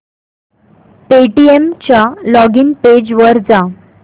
Paytm च्या login page वर जा